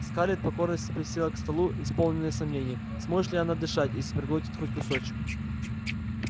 скарлетт покорно присела к столу исполненная сомнений сможет ли она дышать если проглотит хоть кусочек